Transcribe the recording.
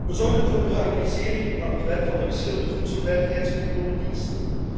We zorgen voor een harmonisering van het werk van de verschillende voedselveiligheidscontrolediensten.